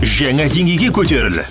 жаңа деңгейге көтеріл